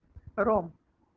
ром